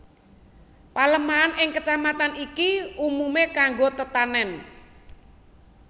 Palemahan ing Kecamatan iki umumé kanggo tetanèn